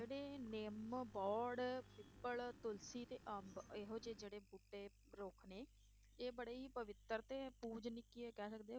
ਜਿਹੜੇ ਨਿੰਮ, ਬੋਹੜ, ਪਿੱਪਲ, ਤੁਲਸੀ ਤੇ ਅੰਬ ਇਹੋ ਜਿਹੇ ਜਿਹੜੇ ਬੂਟੇ ਰੁੱਖ ਨੇ, ਇਹ ਬੜੇ ਹੀ ਪਵਿੱਤਰ ਤੇ ਪੂਜਨੀਕੀਏ ਕਹਿ ਸਕਦੇ ਹਾਂ